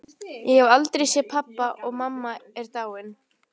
Ég hef aldrei séð pabba og mamma er dáin.